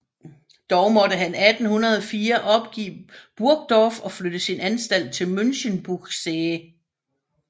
Dog måtte han 1804 opgive Burgdorf og flytte sin anstalt til Münchenbuchsee